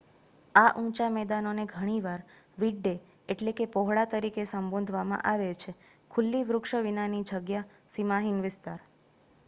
"આ ઊંચા મેદાનો ને ઘણી વાર "વિડડે" એટલે કે પહોળા તરીકે સંબોધવામાં આવે છે ખુલ્લી વૃક્ષો વિના ની જગ્યા સીમાહિન વિસ્તાર.